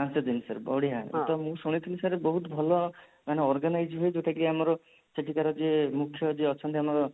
ପାଞ୍ଚଦିନ sir ବଢିଆ ତ ମୁଁ ଶୁଣିଥିଲି sir ବହୁତ ଭଲ ମାନେ organize ହୁଏ ଯଉଟା କି ଆମର ସେଠିକାର ଯିଏ ମୁଖ୍ୟ ଯିଏ ଅଛନ୍ତି ଆମର